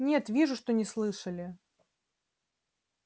нет вижу что не слышали